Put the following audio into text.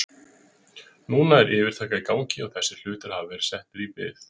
Núna er yfirtaka í gangi og þessir hlutir hafa verið settir í bið.